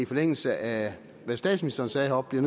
forlængelse af hvad statsministeren sagde heroppe og